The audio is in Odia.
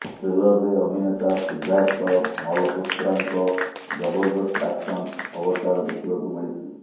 ଟ୍ରେଲରରେ ଅଭିନେତା ସିଦ୍ଧାର୍ଥ ମଲହୋତ୍ରାଙ୍କ ଜବରଦସ୍ତ ଆକ୍ସନ ଅବତାର ଦେଖିବାକୁ ମିଳିଛି